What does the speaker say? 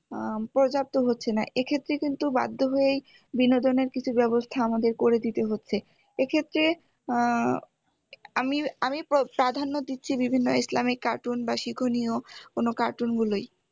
আহ পর্যাপ্ত হচ্ছেনা এক্ষেত্রে কিন্তু বাধ্য হয়েই বিনোদনের কিছু ব্যবস্থা আমাদের করে দিতে হচ্ছে এক্ষেত্রে উম আমি আমি প্রাধান্য দিচ্ছি বিভিন্ন ইসলামিক cartoon বা শিক্ষণীয় কোনো cartoon গুলোই